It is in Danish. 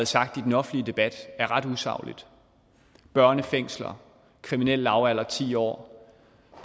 sagt i den offentlige debat er ret usaglige børnefængsler kriminel lavalder på ti år